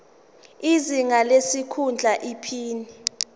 izinga lesikhundla iphini